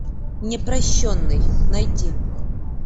непрощенный найти